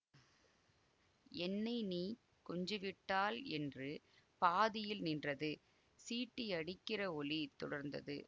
என்னை நீ கொஞ்சிவிட்டால் என்று பாதியில் நின்றது சீட்டியடிக்கிற ஒலி தொடர்ந்தது